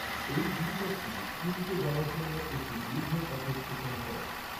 এই গিরিপথটি পুঞ্চে যাওয়ার জন্য একটি দীর্ঘ পথের সুচনা করে।